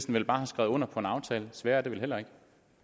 vel bare have skrevet under på en aftale sværere er det vel heller ikke